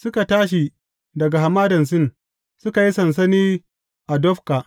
Suka tashi daga Hamadan Sin, suka yi sansani a Dofka.